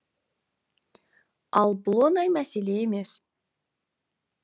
ал бұл оңай мәселе емес